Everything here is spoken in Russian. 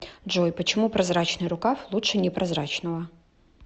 джой почему прозрачный рукав лучше непрозрачного